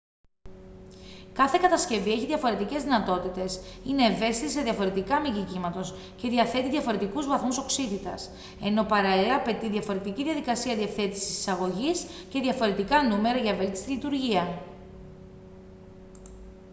κάθε κατασκευή έχει διαφορετικές δυνατότητες είναι ευαίσθητη σε διαφορετικά μήκη κύματος και διαθέτει διαφορετικούς βαθμούς οξύτητας ενώ παράλληλα απαιτεί διαφορετική διαδικασία διευθέτησης της εισαγωγής και διαφορετικά νούμερα για βέλτιστη λειτουργία